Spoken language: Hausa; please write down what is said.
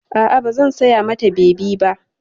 A'a, ba zan saya mata bebi ba.